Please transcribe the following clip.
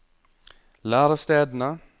lærestedene